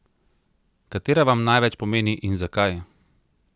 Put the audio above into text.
Katera vam največ pomeni in zakaj?